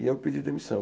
E eu pedi demissão.